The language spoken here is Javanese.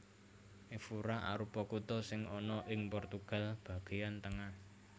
Évora arupa kutha sing ana ing Portugal bagéyan tengah